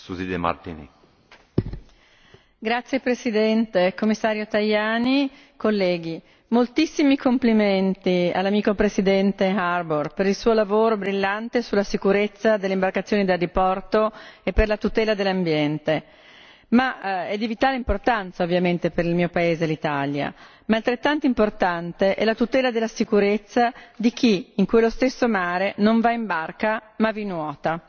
Signor Presidente, onorevoli colleghi, Commissario Tajani, moltissimi complimenti all'amico presidente Harbour per il suo lavoro brillante sulla sicurezza delle imbarcazioni da diporto e per la tutela dell'ambiente, che è di vitale importanza, ovviamente, per il mio paese, l'Italia, ma altrettanto importante è la tutela della sicurezza di chi in quello stesso mare non va in barca ma vi nuota.